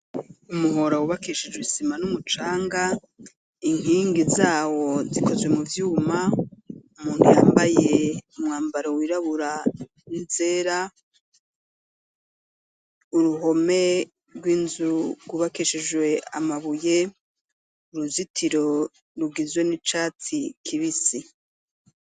Umuhora, wubakishijwe isima n'umucanga, inkingi zawo zikozwe mu vyuma; umuntu yambaye umwambaro wirabura n'izera, uruhome rw'inzu rwubakishijwe amabuye, uruzitiro rugizwe n'icatsi kibisi.